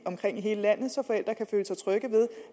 hele landet så forældre kan føle sig trygge ved